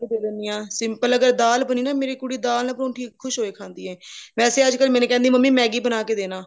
ਬਣਾ ਕੇ ਦੇ ਦਿੰਦੀ ਹਾਂ simple ਅਗਰ ਦਾਲ ਬਣੀ ਹੋਈ ਹੈ ਮੇਰੀ ਕੁੜੀ ਦਾਲ ਨਾਲ ਪਰੋੰਠੀ ਖ਼ੁਸ਼ੀ ਹੋ ਕੇ ਖਾਂਦੀ ਹੈ ਵੈਸੇ ਅੱਜਕਲ ਮੈਨੂੰ ਕਹਿੰਦੀ ਮੰਮੀ Maggie ਬਣਾ ਕੇ ਦੇਣਾ